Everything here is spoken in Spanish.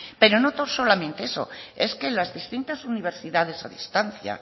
pero no solamente eso es que las distintas universidades a distancia